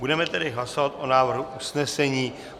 Budeme tedy hlasovat o návrhu usnesení.